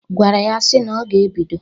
..gwara ya sị na ọ ga-ebido..